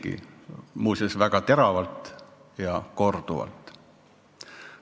Ja nad ütlesid seda väga teravalt ja korduvalt.